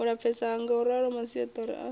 u lapfesa ngauralo maisaṱari a